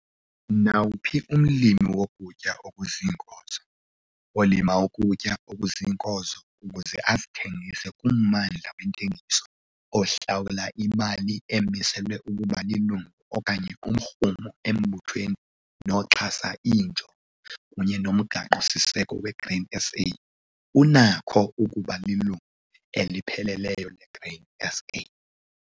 Nawuphi umlimi wokutya okuziinkozo, olima ukutya okuziinkozo ukuze azithengise kummandla wentengiso, ohlawula imali emiselwe ukuba lilungu okanye umrhumo embuthweni noxhasa iinjongo kunye noMgaqo-siseko weGrain SA, unako ukuba lilungu elipheleleyo leGrain SA.